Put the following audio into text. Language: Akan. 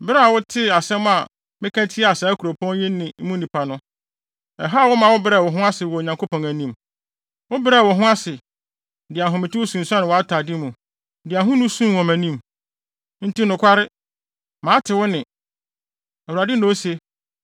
Bere a wotee asɛm a meka de tiaa saa kuropɔn yi ne mu nnipa no, ɛhaw wo ma wobrɛɛ wo ho ase wɔ Onyankopɔn anim. Wobrɛɛ wo ho ase, de ahometew sunsuan wʼatade mu, de ahonu suu wɔ mʼanim. Enti nokware, mate wo nne, Awurade na ose.